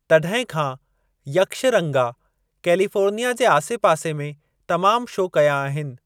तॾहिं खां यक्षरंगा कैलिफोर्निया जे आसेपासे में तमाम शो कया आहिनि।